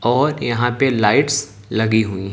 और यहां पे लाइट्स लगी हुई--